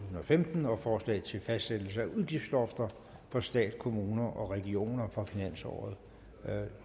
og femten og forslag til fastsættelse af udgiftslofter for stat kommuner og regioner for finansåret